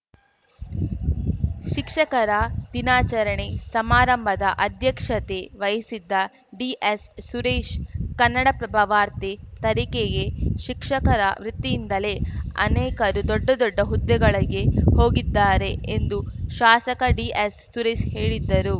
ಶಿಕ್ಷಕರ ದಿನಾಚರಣೆ ಸಮಾರಂಭದ ಅಧ್ಯಕ್ಷತೆ ವಹಿಸಿದ್ದ ಡಿಎಸ್‌ಸುರೇಶ್‌ ಕನ್ನಡಪ್ರಭ ವಾರ್ತೆ ತರೀಕೆಯೇ ಶಿಕ್ಷಕರ ವೃತ್ತಿಯಿಂದಲೇ ಅನೇಕರು ದೊಡ್ಡ ದೊಡ್ಡ ಹುದ್ದೆಗಳಿಗೆ ಹೋಗಿದ್ದಾರೆ ಎಂದು ಶಾಸಕ ಡಿಎಸ್‌ಸುರೇಶ್‌ ಹೇಳಿದ್ದರು